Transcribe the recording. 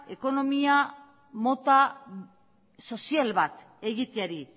ekonomia mota sozial bat egiteari